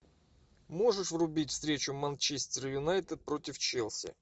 можешь врубить встречу манчестер юнайтед против челси